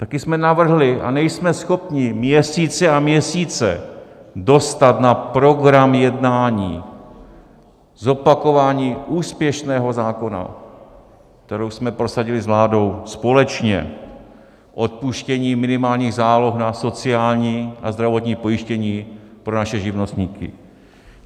Taky jsme navrhli a nejsme schopni měsíce a měsíce dostat na program jednání zopakování úspěšného zákona, který jsme prosadili s vládou společně, odpuštění minimálních záloh na sociální, na zdravotní pojištění pro naše živnostníky.